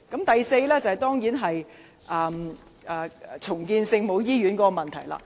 第四個離譜之處，當然是重建聖母醫院的問題。